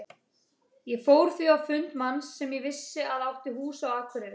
Ég fór því á fund manns sem ég vissi að átti hús á Akureyri.